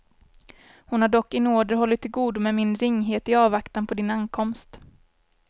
Hon har dock i nåder hållit till godo med min ringhet i avvaktan på din ankomst.